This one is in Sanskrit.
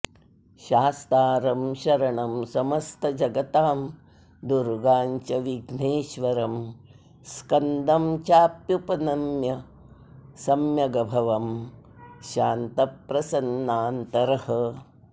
शास्तारं शरणं समस्तजगतां दुर्गाञ्च विघ्नेश्वरं स्कन्दं चाप्युपनम्य सम्यगभवं शान्तप्रसन्नान्तरः